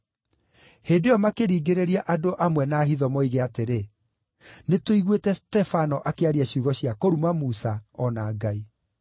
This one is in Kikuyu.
Hĩndĩ ĩyo makĩringĩrĩria andũ amwe na hitho moige atĩrĩ, “Nĩtũiguĩte Stefano akĩaria ciugo cia kũruma Musa, o na Ngai.”